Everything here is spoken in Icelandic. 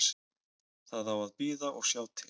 Það á að bíða og sjá til.